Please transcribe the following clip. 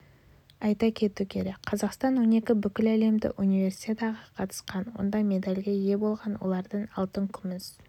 айта кету керек қазақстан он екі бүкіләлемдік универсиадаға қатысқан онда медальге ие болған олардың алтын күміс